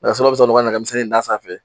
Nɛgɛsilaw bɛ sɔ n'u ka nɛgɛmisɛn in d'a sanfɛ